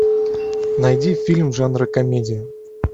найди фильм жанра комедия